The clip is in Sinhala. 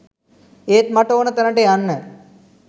ඒත් මට ඕන තැනට යන්න